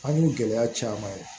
An k'u gɛlɛya caman ye